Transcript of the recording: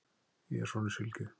Ég er sonur Sylgju,